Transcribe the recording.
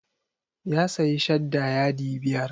Ya sayi shadda yadi biyar.